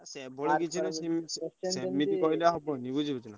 ସେଭଳି କିଛି ନୁହଁ ସେମିତି କହିଲେ ହବ କି ବୁଝିଲୁକି?